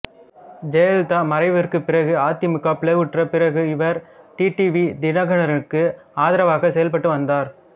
ஜெயலலிதா மறைவுக்குப் பிறகு அதிமுக பிளவுற்ற பிறகு இவர் டி டி வி தினகரனுக்கு ஆதரவாக செயல்பட்டு வந்தார்